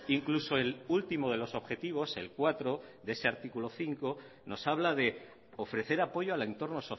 incluso el último de los objetivos el cuatro de este artículo cinco nos habla de ofrecer apoyo al entorno